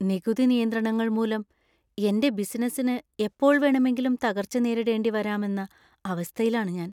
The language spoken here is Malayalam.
നികുതി നിയന്ത്രണങ്ങൾ മൂലം എന്‍റെ ബിസിനസ്സിന് എപ്പോൾ വേണമെങ്കിലും തകർച്ച നേരിടേണ്ടി വരാം എന്ന അവസ്ഥയിലാണ് ഞാൻ.